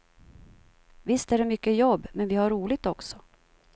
Visst är det mycket jobb, men vi har roligt också.